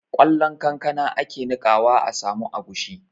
Ƙwallon kankana ake niƙawa a samu agushi